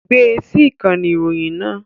Gbé e sí ìkànnì ìròyìn náà